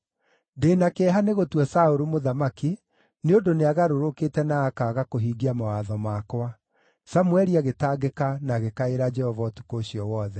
“Ndĩ na kĩeha nĩ gũtua Saũlũ mũthamaki, nĩ ũndũ nĩagarũrũkĩte na akaaga kũhingia mawatho makwa.” Samũeli agĩtangĩka na agĩkaĩra Jehova ũtukũ ũcio wothe.